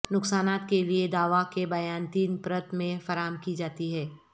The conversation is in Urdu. نقصانات کے لئے دعوی کے بیان تین پرت میں فراہم کی جاتی ہے